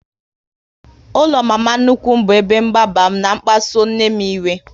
Ụlọ mama nnukwu m bụ ebe mgbagba m na kpasuo nne m iwe